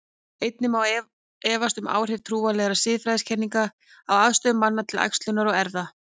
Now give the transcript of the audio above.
Einnig má efast um áhrif trúarlegra siðfræðikenninga á afstöðu manna til æxlunar og erfða.